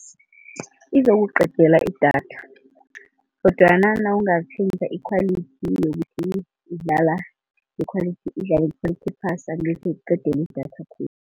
Izokuqedela idatha kodwana nawungatjhentjha i-quality yokuthi idlala i-quality idlale i-quality ephasi, angekhe ikuqedele idatha khulu.